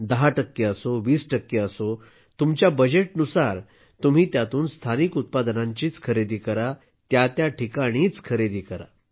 तुमचं बजेट 10 टक्के असो 20 टक्के असो तुम्ही त्यातून स्थानिक उत्पादनांचीच खरेदी करा त्या त्या ठिकाणीच खरेदी करा